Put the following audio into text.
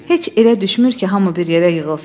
Heç elə düşmür ki, hamı bir yerə yığılsın.